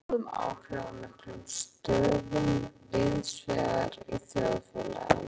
Fræðingarnir koma sér síðan fyrir í góðum áhrifamiklum stöðum víðsvegar í þjóðfélaginu.